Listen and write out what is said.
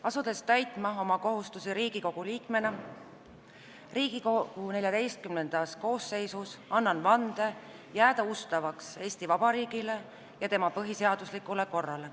Asudes täitma oma kohustusi Riigikogu liikmena Riigikogu XIV koosseisus, annan vande jääda ustavaks Eesti Vabariigile ja tema põhiseaduslikule korrale.